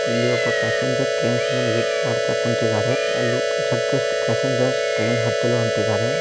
ಇಲ್ಲಿ ಒಬ್ಬ passenger trains ನ ವೇಟ್ ಮಾಡ್ತಾ ಕೂಂತಿದ್ದಾರೆ ಅಲ್ಲಿ ಪ್ಯಾಸೆಂಜರ್ ಟ್ರೈನ್ ಹತ್ತಲು ಹೊಂಟಿದ್ದಾರೆ.